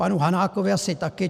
Panu Hanákovi asi taky.